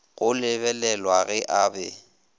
go lebelelwa ge a be